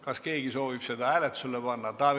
Kas keegi soovib seda hääletusele panna?